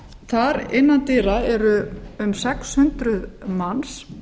þar innan dyra eru um sex hundruð manns